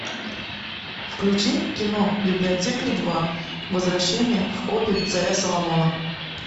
включи кино библиотекарь два возвращение в копи царя соломона